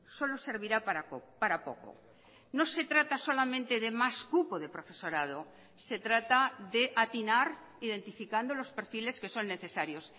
solo servirá para poco no se trata solamente de más cupo de profesorado se trata de atinar identificando los perfiles que son necesarios